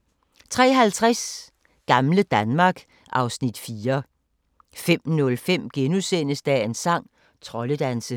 03:50: Gamle Danmark (Afs. 4) 05:05: Dagens sang: Troldedanse *